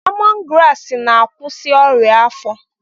Lemọn graasị na-akwụsị ọrịa afọ.